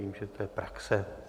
Vím, že to je praxe.